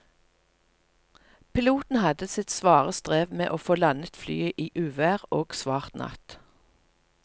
Piloten hadde sitt svare strev med å få landet flyet i uvær og svart natt.